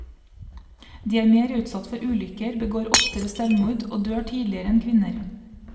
De er mer utsatt for ulykker, begår oftere selvmord og dør tidligere enn kvinner.